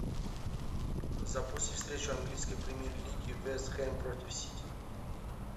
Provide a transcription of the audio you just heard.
запусти встречу английской премьер лиги вест хэм против сити